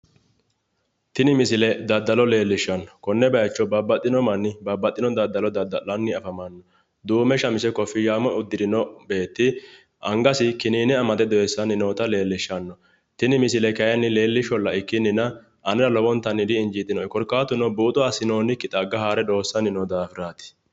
Tini misile daddalo leellishshanno, konne baycho babbaxxino manni babbaxxino daddalo dadda'lanni afamanno, duume shamize koffi'yaame uddirino beetti angasi kiniine amade doyissanni noota leellishshanno, tini misile leellisholla ikkinnina, anera lowo geeshsha di'injiitino'e korkaatuno, buuxo assinoonnikki xagga haare dooysanni noo daafiraati.